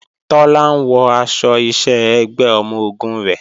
Tọ́lá ń wọ aṣọ iṣẹ́ ẹgbẹ́ ọmọ-ogun rẹ̀